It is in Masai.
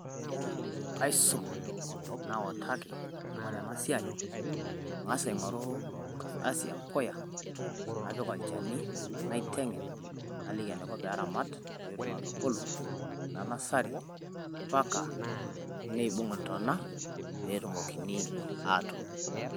Kaisum nautaki oltung`ani ena siai, ang`as aing`oru enkardasi ashu e mpuya apik olchani naiteng`en naliki enaiko pee eramat pee etum atubulu te nursery mpaka neibung intona pee etumokini aatuun.